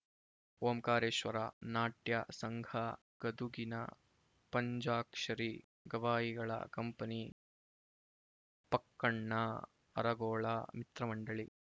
ಓಂಕಾರೇಶ್ವರ ನಾಟ್ಯ ಸಂಘ ಗದುಗಿನ ಪಂಚಾಕ್ಷರಿ ಗವಾಯಿಗಳ ಕಂಪನಿ ಪಕ್ಕಣ್ಣ ಅರಗೋಳ ಮಿತ್ರಮಂಡಳಿ